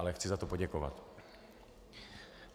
Ale chci za to poděkovat.